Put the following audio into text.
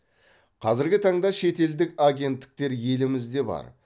қазіргі таңда шетелдік агенттіктер елімізде бар